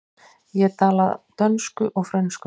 Ég tala dönsku og frönsku.